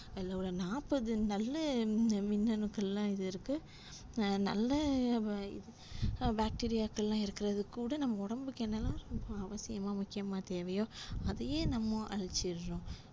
அதுல ஒரு நாப்பது நல்ல மின்னணுக்கள்லா இருக்கு அஹ் நல்ல இது bacteria க்கல்லா இருக்குறதுக்கூட நம்ம ஒடம்புக்கு என்னல்லா அவசியமோ முக்கியமா தேவையோ அதேயே நம்ம அழிச்சுறோம்